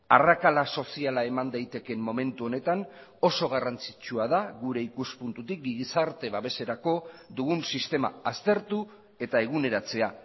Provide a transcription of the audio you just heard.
arrakala soziala eman daitekeen momentu honetan oso garrantzitsua da gure ikuspuntutik gizarte babeserako dugun sistema aztertu eta eguneratzea